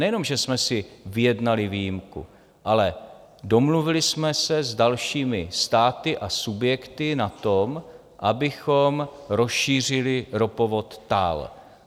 Nejenom že jsme si vyjednali výjimku, ale domluvili jsme se s dalšími státy a subjekty na tom, abychom rozšířili ropovod TAL.